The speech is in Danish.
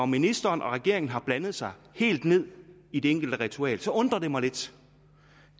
ministeren og regeringen har blandet sig helt ned i det enkelte ritual undrer det mig lidt